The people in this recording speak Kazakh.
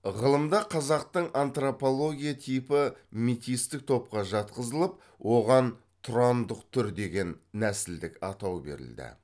ғылымда қазақтың антропология типі метистік топқа жатқызылып оған тұрандық түр деген нәсілдік атау берілді